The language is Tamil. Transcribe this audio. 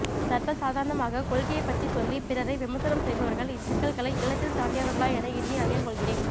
சர்வசாதாரணமாக கொள்கையைப்பற்றி சொல்லி பிறரை விமர்சனம் செய்பவர்கள் இச்சிக்கல்களை எளிதில் தாண்டியவர்களா என எண்ணி ஐயம் கொள்கிறேன்